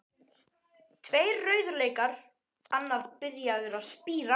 Tveir rauðlaukar, annar byrjaður að spíra.